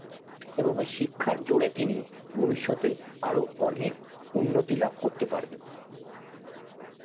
এবং শিক্ষার জোরে তিনি ভবিষতে আরো তিনি আরো অনেক উন্নতি লাভ করতে পারবে